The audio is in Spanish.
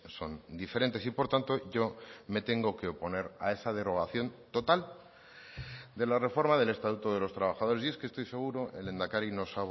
son diferentes y por tanto yo me tengo que oponer a esa derogación total de la reforma del estatuto de los trabajadores y es que estoy seguro el lehendakari nos